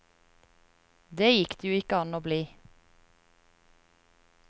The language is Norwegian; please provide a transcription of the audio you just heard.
Det gikk det jo ikke an å bli.